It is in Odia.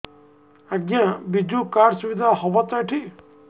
ଆଜ୍ଞା ବିଜୁ କାର୍ଡ ସୁବିଧା ହବ ତ ଏଠି